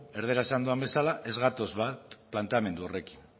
erdaraz esan dudan bezala ez gatoz bat planteamendu horrekin